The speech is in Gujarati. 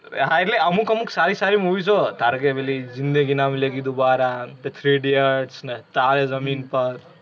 હા એટલે અમુક અમુક સારી સારી movies ઓ હે ધારો કે પેલી જિંદગી ના મિલેગી દોબારા, three idiots ને તારે જમીન પર